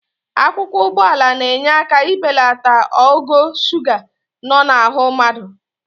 Akwụkwọ olugbo na-enye aka ibelata ogo suga nọ n'ahụ mmadụ.